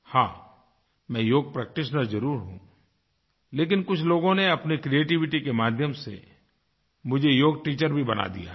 हाँ मैं योग प्रैक्टीशनर जरुर हूँ लेकिन कुछ लोगों ने अपनी क्रिएटिविटी के माध्यम से मुझे योग टीचर भी बना दिया है